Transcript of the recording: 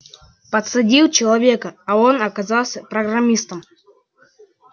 подсадил человека а он оказался программистом